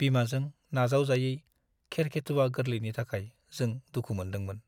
बिमाजों नाजावजायै खेरखेथुवा गोरलैनि थाखाय जों दुखु मोनदोंमोन।